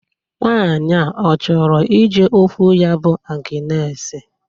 Nwaanyị Ọ chọrọ ije okwu ya bụ Agnes.